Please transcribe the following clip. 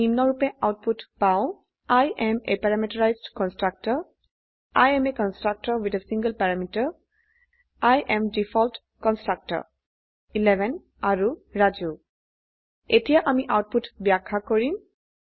আমই নিম্নৰুপে আউটপুট পাউ I am a parameterised constructor I am a constructor with a single parameter I am default constructor 11 আৰু ৰাজু এতিয়া আমি output ব্যাখ্যা কৰিম